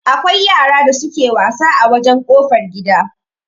Akwai yara da suke wasa a wajan kofar gida